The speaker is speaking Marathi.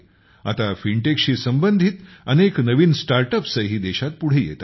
आता फिनटेकशी संबंधित अनेक नवीन स्टार्टअप्सही देशात पुढे येत आहेत